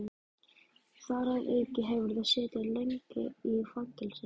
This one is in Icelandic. Þar að auki hefurðu setið lengi í fangelsi